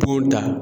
Po da